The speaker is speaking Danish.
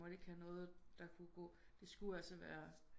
Måtte ikke have noget der kunne gå det skulle altså være